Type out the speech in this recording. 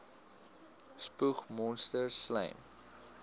spoeg monsters slym